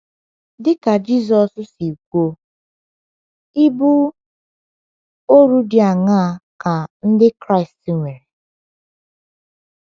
Dị ka Jizọs si kwuo, ibu ọrụ dị aṅaa ka Ndị Kraịst nwere?